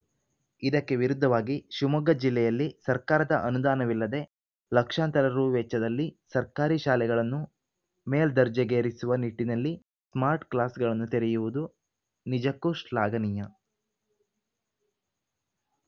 ಇದಕ್ಕೆ ವಿರುದ್ಧವಾಗಿ ಶಿವಮೊಗ್ಗ ಜಿಲ್ಲೆಯಲ್ಲಿ ಸರ್ಕಾರದ ಅನುದಾನವಿಲ್ಲದೆ ಲಕ್ಷಾಂತರ ರು ವೆಚ್ಚದಲ್ಲಿ ಸರ್ಕಾರಿ ಶಾಲೆಗಳನ್ನು ಮೇಲ್ದರ್ಜೆಗೇರಿಸುವ ನಿಟ್ಟಿನಲ್ಲಿ ಸ್ಮಾರ್ಟ್‌ಕ್ಲಾಸ್‌ಗಳನ್ನು ತೆರೆಯುವುದು ನಿಜಕ್ಕೂ ಶ್ಲಾಘನೀಯ